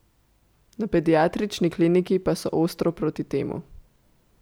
Na pediatrični kliniki pa so ostro proti temu.